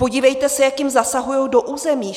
Podívejte se, jak jim zasahují do území.